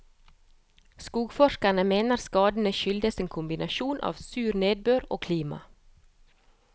Skogforskerne mener skadene skyldes en kombinasjon av sur nedbør og klima.